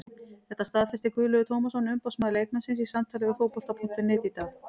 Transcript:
Þetta staðfesti Guðlaugur Tómasson umboðsmaður leikmannsins í samtali við Fótbolta.net í dag.